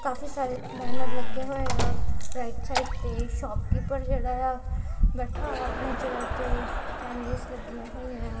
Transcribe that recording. ਕਾਫ਼ੀ ਸਾਰੇ ਬੈਨਰ ਲੱਗੇ ਹੋਏ ਆ ਰਾਈਟ ਸਾਈਡ ਤੇ ਸ਼ੋਪ ਕੀਪਰ ਜਿਹੜਾ ਏ ਆ ਬੈਠਾ ਹੋਇਆ ਆਪਣੀ ਚੇਅਰ ਤੇ ਕੈਂਡੀਜ਼ ਲੱਗੀਆਂ ਹੋਈਆਂ ਏ ਆ।